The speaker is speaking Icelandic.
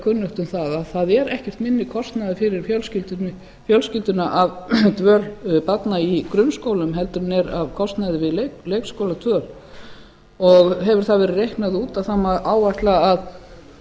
kunnugt um það að það er ekkert minni kostnaður fyrir fjölskylduna af dvöl barna í grunnskólum heldur en er af kostnaði við leikskóladvöl hefur það verið reiknað út að má áætla að